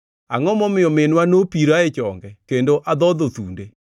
Angʼo momiyo minwa nopira e chonge kendo adhodho thunde?